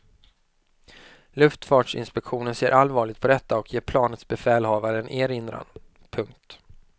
Luftfartsinspektionen ser allvarligt på detta och ger planets befälhavare en erinran. punkt